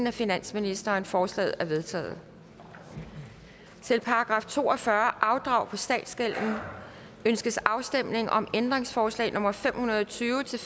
af finansministeren forslagene er vedtaget til § to og fyrre afdrag på statsgælden ønskes afstemning om ændringsforslag nummer fem hundrede og tyve til